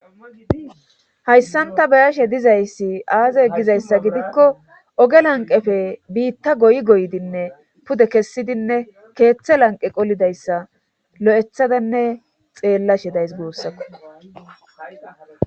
Hayssanta bayashe dizayssi aaze gizayssa gidikko oge lanqefe biitta goy goydinne pude kessidinne keeththe lanqe qolidayssa lo7ethadanne xeellashedays goossakko